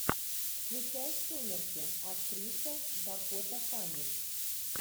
включай сумерки актриса дакота фаннинг